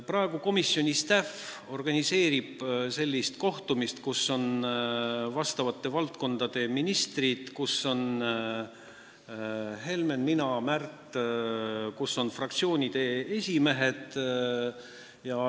Praegu komisjoni staff organiseerib kohtumist, kus on vastavate valdkondade ministrid, kus on Helmen, olen mina, on Märt, kus on fraktsioonide esimehed.